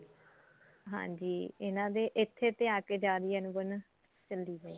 ਹਾਂਜੀ ਇਹਨਾ ਦੇ ਇੱਥੇ ਤੇ ਆ ਕੇ ਜਾ ਰਹੀ ਏ ਅਣਬਣ ਚਲੀ ਜੇ